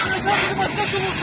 O bir dənə tək çıxmasın burdan.